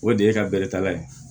O de ye ka bɛrɛtala ye